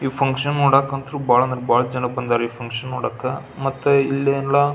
ಈ ಫಂಕ್ಷನ್ ಮಾಡೋಕ್ಕಂತೂ ಭಾಳ ಅಂದ್ರೆ ಭಾಳ ಜನ ಬಂದಾರೆ ಈ ಫಂಕ್ಷನ್ ಮಾಡಾಕೆ ಮತ್ತೆ ಇಲ್ಲೆಲ್ಲಾ.